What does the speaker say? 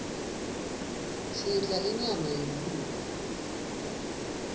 sidla inyama yenkhukhu